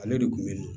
Ale de kun bɛ